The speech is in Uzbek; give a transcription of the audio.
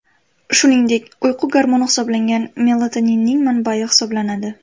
Shuningdek, uyqu gormoni hisoblangan melatoninning manbayi hisoblanadi.